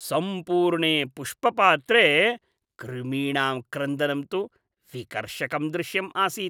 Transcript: सम्पूर्णे पुष्पपात्रे कृमीणां क्रन्दनं तु विकर्षकं दृश्यम् आसीत्।